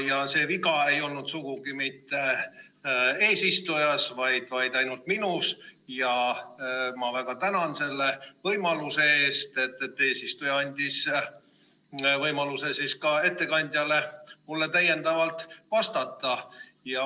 Ja see viga ei olnud sugugi mitte eesistujas, vaid ainult minus ja ma väga tänan selle eest, et eesistuja andis võimaluse ka ettekandjale mulle täiendavalt vastata.